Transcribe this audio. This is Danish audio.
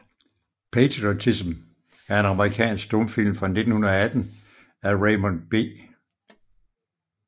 Patriotism er en amerikansk stumfilm fra 1918 af Raymond B